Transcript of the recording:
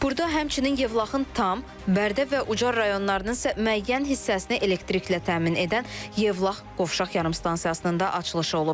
Burda həmçinin Yevlaxın tam, Bərdə və Ucar rayonlarının isə müəyyən hissəsini elektriklə təmin edən Yevlax Qovşaq yarımstansiyasının da açılışı olub.